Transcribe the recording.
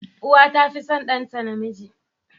Uwa tafi son ɗanta namiji.